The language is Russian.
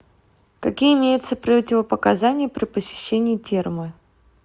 какие имеются противопоказания при посещении термы